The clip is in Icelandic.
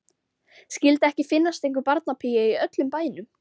Skyldi ekki finnast einhver barnapía í öllum bænum.